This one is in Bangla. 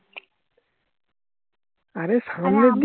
অরে সামনে